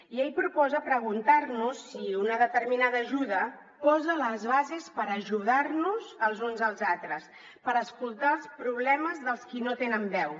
i ell proposa preguntar nos si una determinada ajuda posa les bases per ajudar nos els uns als altres per escoltar els problemes dels qui no tenen veu